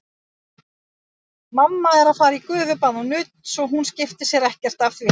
Mamma er að fara í gufubað og nudd, svo hún skiptir sér ekkert af því.